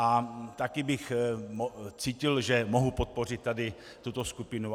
A taky bych cítil, že mohu podpořit tady tuto skupinu.